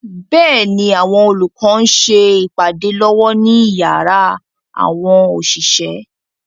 Bẹ́ẹ̀ni, àwọn olùkọ́ ń ṣe ìpàdé lọ́wọ́ ní yàrá àwọn òṣìṣẹ́.